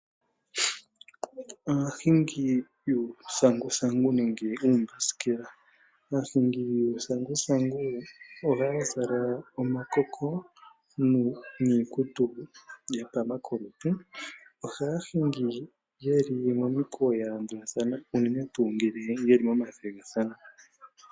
Aahingi yuuthanguthangu, nenge uumbasijela. Aahingi yuuthanguthangu ohaa zala omakoko, niikutu ya pama kolutu. Ohaa hingi ye li momikweyo ya landulathana, unene tuu ngele ye li momathigathano.